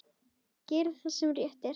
Gera það sem rétt er.